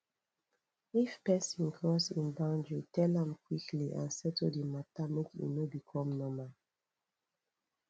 if person cross in boundary tell am quickly and settle di matter make e no become normal